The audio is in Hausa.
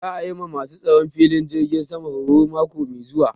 Za a yi ma ma su tsaron filin jirgin sama horo mako mai zuwa